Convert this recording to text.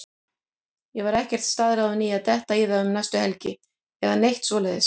Ég var ekkert staðráðinn í að detta í það um næstu helgi eða neitt svoleiðis.